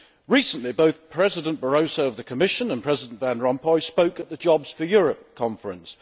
Recently, both President Barroso of the Commission and President Van Rompuy spoke at the Jobs for Europe conference.